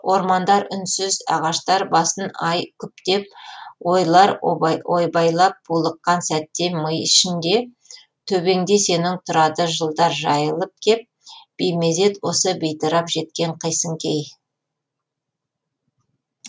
ормандар үнсіз ағаштар басын ай күптеп ойлар ойбайлап булыққан сәтте ми ішінде төбеңде сенің тұрады жылдар жайылып кеп беймезет осы бейтарап жеткен қисын кей